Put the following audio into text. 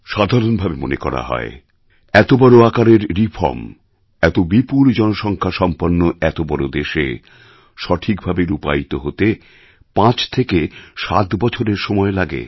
সাধারণভাবে মনে করা হয় এত বড় আকারের রিফর্ম এত বিপুল জনসংখ্যা সম্পন্ন এত বড় দেশে সঠিকভাবে রূপায়িত হতে ৫ থেকে ৭ বছরের সময় লাগে